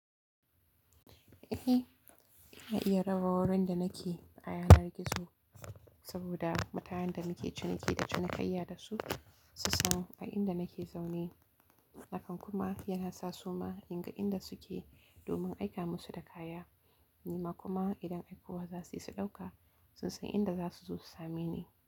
Eh, yana iya raba wurin da nake da ayanar gizo, saboda mutanen da muke ciniki da cinikayya da su, su san a inda nake zaune. Hakan kuma, zai sa su ma in gan inda su ke domin aika mu su da kaya. Nima kuma idan aikowa za suyi su ɗauka, sai su yi inda za su zo su same ni.